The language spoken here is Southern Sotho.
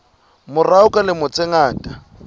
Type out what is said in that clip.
morao ka dilemo tse ngata